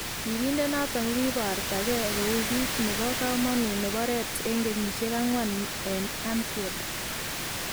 Birindet noton kokiborto kee kou kiit nebo kamanuut nebo Reds en kenyisiek agwan en Anfied